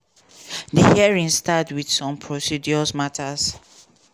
di hearing start wit some procedural matters.